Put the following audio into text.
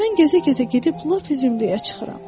Mən gəzə-gəzə gedib lap zümrəyə çıxıram.